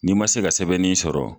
N'i ma se ka sɛbɛnnin sɔrɔ